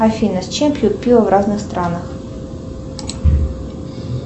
афина с чем пьют пиво в разных странах